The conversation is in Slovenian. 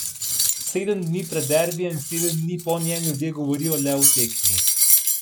Sedem dni pred derbijem in sedem dni po njem ljudje govorijo le o tekmi.